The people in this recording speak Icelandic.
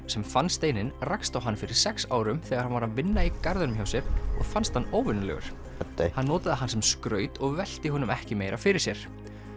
sem fann steininn rakst á hann fyrir sex árum þegar hann var að vinna í garðinum hjá sér og fannst hann óvenjulegur hann notaði hann sem skraut og velti honum ekki meira fyrir sér